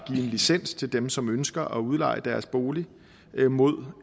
en licens til dem som ønsker at udleje deres bolig mod